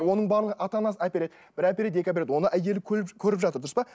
оның барлығы ата анасы әпереді бір әпереді екі әпереді оны әйелі көріп жатыр дұрыс па